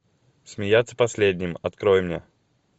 смеяться последним открой мне